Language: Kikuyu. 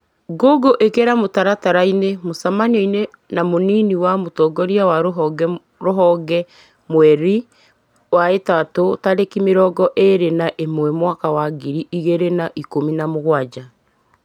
google ĩkĩra mutaratara-inĩ mũcemanio na mũnini wa mũtongoria wa rũhonge mwerĩ wa ĩtatũ tarĩki mĩrongo ĩrĩ na ĩmwe mwaka wa ngiri ĩgĩrĩ na ikũmi na mũgwanja